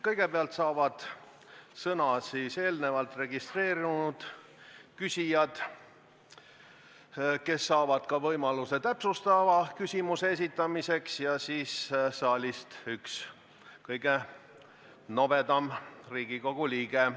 Kõigepealt saavad sõna eelnevalt registreerunud küsijad, kes saavad ka võimaluse täpsustava küsimuse esitamiseks, ja siis saab saalist küsida üks kõige nobedam Riigikogu liige.